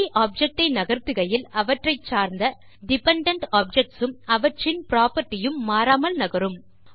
free object ஐ நகர்த்துகையில் அவற்றைச் சார்ந்த டிபெண்டென்ட் ஆப்ஜெக்ட்ஸ் உம் அவற்றின் புராப்பர்ட்டி மாறாமல் நகரும்